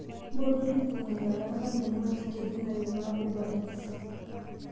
mpotu elukungu naikaraanga naing'uaa chiken inn aimaa ubereats